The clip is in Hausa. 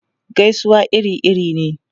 Gaisuwa iri-iri ne.